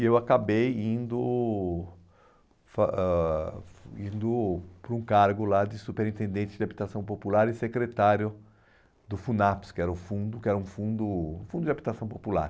E eu acabei indo fa ãh indo para um cargo lá de superintendente de habitação popular e secretário do FUNAPS, que era o fundo que era um fundo um fundo de habitação popular.